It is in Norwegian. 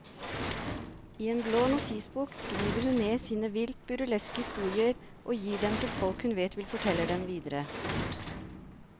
I en blå notisbok skriver hun ned sine vilt burleske historier og gir dem til folk hun vet vil fortelle dem videre.